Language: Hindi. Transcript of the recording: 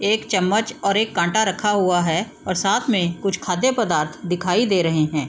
एक चम्मच और एक काँटा रखा हुआ है और साथ में कुछ खाद्य-पदार्थ दिखाई दे रहे हैं।